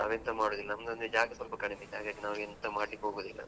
ನಾವು ಎಂತ ಮಾಡುದಿಲ್ಲ ನಮ್ದು ಅಂದ್ರೆ ಜಾಗ ಸ್ವಲ್ಪ ಕಡಿಮೆ ಹಾಗಾಗಿ ನಾವು ಎಂತ ಮಾಡ್ಲಿಕ್ ಹೋಗುದಿಲ್ಲ.